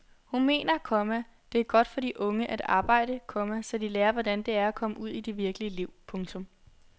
Hun mener, komma det er godt for de unge at arbejde, komma så de lærer hvordan det er at komme ud i det virkelige liv. punktum